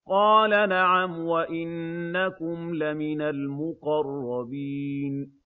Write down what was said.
قَالَ نَعَمْ وَإِنَّكُمْ لَمِنَ الْمُقَرَّبِينَ